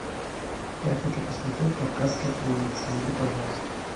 я хочу посмотреть кавказская пленница найди пожалуйста